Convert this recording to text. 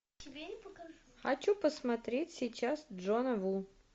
хочу посмотреть сейчас джона ву